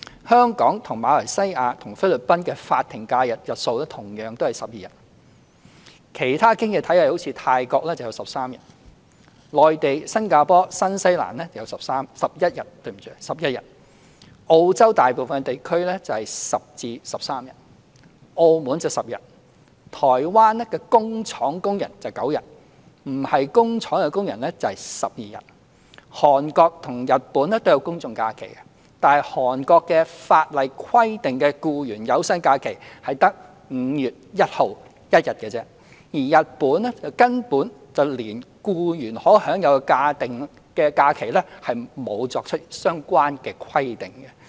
香港、馬來西亞和菲律賓的法定假日的日數同樣是12天；其他經濟體系例如泰國有13天；內地、新加坡和新西蘭有11天；澳洲大部分地區有10天至13天；澳門有10天；台灣的工廠工人有9天，非工廠工人有12天；韓國和日本都有公眾假期，但韓國法例規定的僱員有薪假期只有5月1日1天，而日本根本連僱員可享有的法定假日都沒有作出相關規定。